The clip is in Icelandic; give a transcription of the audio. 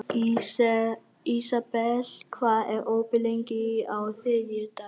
Ísabel, hvað er opið lengi á þriðjudaginn?